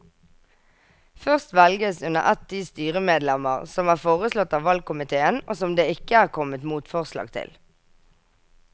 Først velges under ett de styremedlemmer som er foreslått av valgkomiteen og som det ikke er kommet motforslag til.